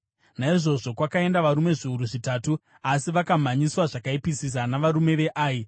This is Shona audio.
Naizvozvo kwakaenda varume zviuru zvitatu; asi vakamhanyiswa zvakaipisisa navarume veAi,